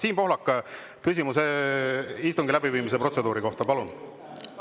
Siim Pohlak, küsimus istungi läbiviimise protseduuri kohta, palun!